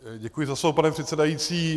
Děkuji za slovo, pane předsedající.